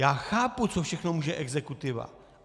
Já chápu, co všechno může exekutiva.